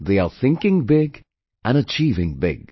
They are thinking Big and Achieving Big